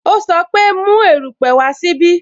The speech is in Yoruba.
O sọ pe "Mu erupe wá sí ibí "